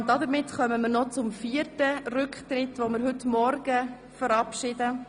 Damit kommen wir zum vierten Rücktritt von heute Morgen.